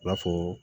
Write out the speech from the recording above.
U b'a fɔ